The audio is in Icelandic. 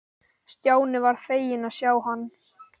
Stjáni varð feginn að sjá hann.